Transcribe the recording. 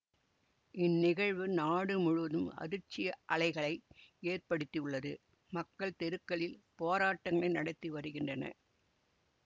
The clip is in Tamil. இந்நிகழ்வு நாடு முழுவதும் அதிர்ச்சி அலைகளை ஏற்படுத்தியுள்ளது மக்கள் தெருக்களில் போராட்டங்களை நடத்தி வருகின்றனர்